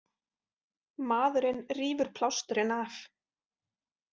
Maðurinn rífur plásturinn af.